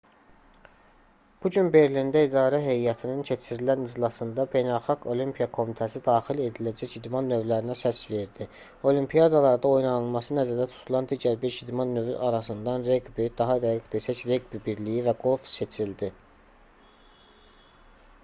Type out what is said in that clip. bu gün berlində idarə heyətinin keçirilən iclasında beynəlxalq olimpiya komitəsi daxil ediləcək idman növlərinə səs verdi olimpiadalarda oynanılması nəzərdə tutulan digər beş idman növü arasından reqbi daha dəqiq desək reqbi birliyi və qolf seçildi